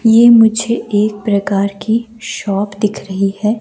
ये मुझे एक प्रकार की शॉप दिख रही है।